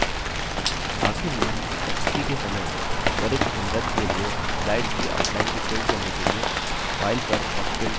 आखिर में प्रस्तुति के समय त्वरित सन्दर्भ के लिए slides की outline को print करने के लिए file पर और print पर click करें